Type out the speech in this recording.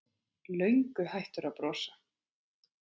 Löngu hættur að brosa.